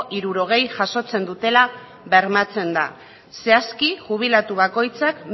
hirurogeia jasotzen dutela bermatzen da zehazki jubilatu bakoitzak